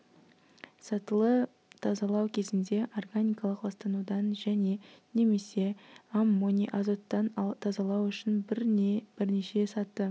сатылы тазалау кезінде органикалық ластанудан және немесе аммоний азоттан тазалау үшін бір не бірнеше саты